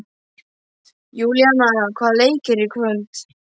Júlíana, hvaða leikir eru í kvöld?